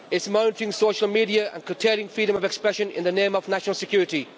It is monitoring social media and curtailing freedom of expression in the name of national security.